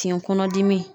Fiɲɛ kɔnɔdimi